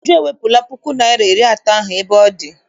Uju ewepụla puku naịra na iri atọ ahụ ebe ọ dị.